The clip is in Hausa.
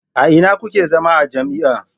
A ina kuke zama a jami'a?